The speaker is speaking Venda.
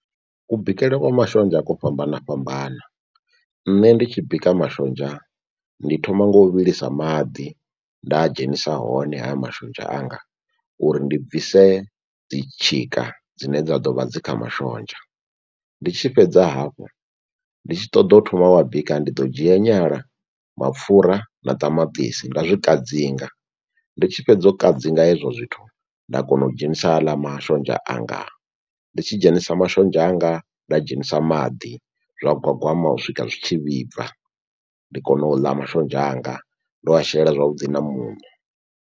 Ku bikele kwa mashonzha kwo fhambana fhambana, nṋe ndi tshi bika mashonzha ndi thoma nga u vhilisa maḓi nda a dzhenisa hone haya mashonzha anga. Uri ndi bvise dzi tshika dzine dza ḓo vha dzi kha mashonzha. Ndi tshi fhedza hafho ndi tshi ṱoḓa u thoma u wa bika ndi ḓo dzhia nyala, mapfura na ṱamaṱisi nda zwi kadzinga. Ndi tshi fhedza u kadzinga hezwo zwithu nda kona u dzhenisa haḽa mashonzha anga. Ndi tshi dzhenisa mashonzha anga nda dzhenisa maḓi zwa gwagwama u swika zwitshi vhibva ndi kone u ḽa mashonzha anga ndo a shela zwavhuḓi na muṋo.